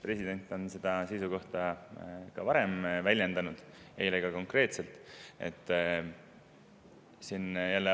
President on seda seisukohta varemgi väljendanud, eile ka konkreetselt.